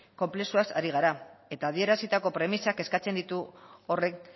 konplexuaz ari gara eta adierazitako premisak eskatzen ditu horrek